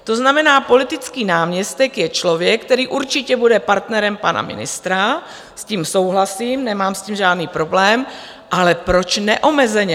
To znamená, politický náměstek je člověk, který určitě bude partnerem pana ministra, s tím souhlasím, nemám s tím žádný problém, ale proč neomezeně?